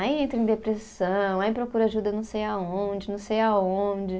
Aí entra em depressão, aí procura ajuda não sei aonde, não sei aonde.